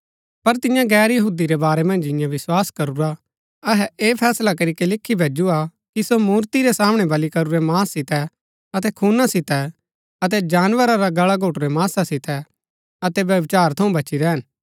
पर तियां गैर यहूदी रै बारै मन्ज जिन्यैं विस्वास करूरा अहै ऐह फैसला करीके लिखी भैजुआ कि सो मूर्ति रै सामणै बलि करूरै मांस सितै अतै खूना सितै अतै जानवरा रा गल्ला घोटुरै मांसा सितै अतै व्यभिचार थऊँ बची रैहन